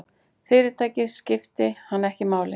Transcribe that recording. Fyrirtækið skipti hann ekki máli.